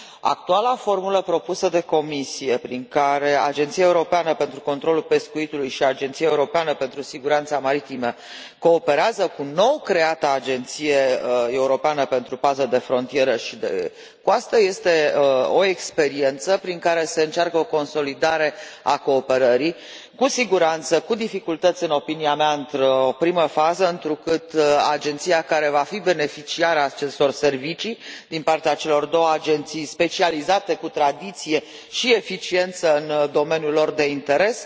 Actuala formulă propusă de Comisie, prin care Agenția Europeană pentru Controlul Pescuitului și Agenția Europeană pentru Siguranța Maritimă cooperează cu nou creata Agenție Europeană pentru Paza de Frontieră și de Coastă este o experiență prin care se încearcă o consolidare a cooperării, cu siguranță, cu dificultăți, în opinia mea, într o primă fază, întrucât agenția care va fi beneficiara acestor servicii din partea celor două agenții specializate, cu tradiție și eficiență în domeniul lor de interes,